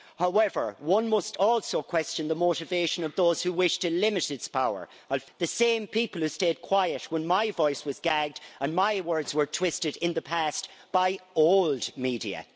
However, one must also question the motivation of those who wish to limit its power the same people who stayed quiet when my voice was gagged and my words were twisted in the past by old' media.